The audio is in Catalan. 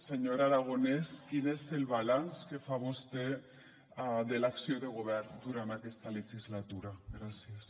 senyor aragonès quin és el balanç que fa vostè de l’acció de govern durant aquesta legislatura gràcies